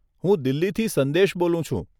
હું દિલ્હીથી સંદેશ બોલું છું.